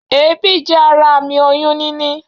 Èébì jé ara àmì oyún níní